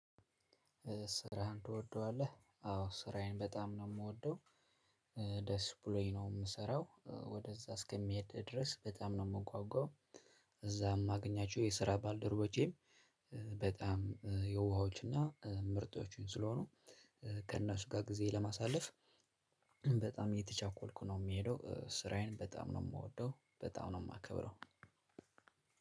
ስራህን ትወደዋለህ? አዎ ስራዬን በጣም ነው የምወደው። ደስ ብሎኝ ነው የምሰራው ወደዛ እስከምሄድ ድረስ በጣም ነው የምንጓጓው እዛም እማገኛቸው የስራ ባልደረቦቼም። በጣም የውሃዎችና ምርጦችን ስለሆኑ። ከእናሱ ጋር ጊዜ ለማሳለፍ በጣም እየተቻኮልኩ ነው የምሄደው። ስራዬን በጣም ነው የምወደው በጣም ነው የማከብረው።